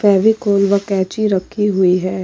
फेविकोल व कैंची रखी हुई है।